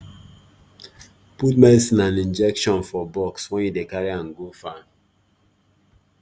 put medicine and injection for box when you dey carry am go farm